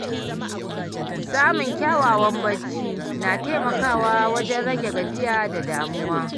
Samun kyakkyawan barci na taimakawa wajen rage gajiya da damuwa.